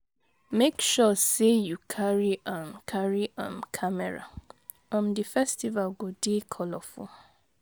Make sure sey you um carry your um camera, um di festival go dey colorful